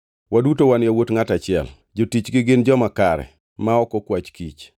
Waduto wan yawuot ngʼat achiel. Jotichgi gin joma kare, ma ok okwach kich.”